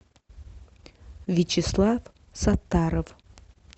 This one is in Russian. вячеслав сатаров